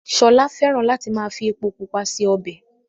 Ṣọlá fẹ́ràn láti máa fi epo pupa ṣe ọbẹ̀